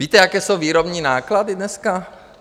Víte, jaké jsou výrobní náklady dneska?